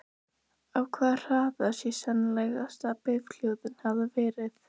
Á hvaða hraða sé sennilegast að bifhjólið hafi verið?